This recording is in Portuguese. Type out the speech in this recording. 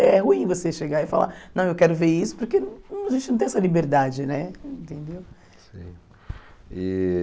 É ruim você chegar e falar, não, eu quero ver isso, porque a gente não tem essa liberdade né, entendeu? Sim, e